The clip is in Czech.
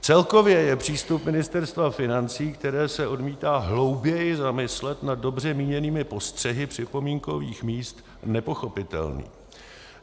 Celkově je přístup Ministerstva financí, které se odmítá hlouběji zamyslet nad dobře míněnými postřehy připomínkových míst, nepochopitelný.